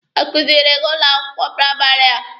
Ọ kuziiri gị n'ụlọ akwụkwọ praịmarị a?